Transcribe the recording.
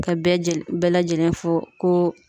Ka bɛɛ lajɛlen fɔ ko